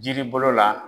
Jiri bolo la